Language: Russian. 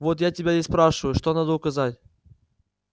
вот я тебя и спрашиваю что надо указать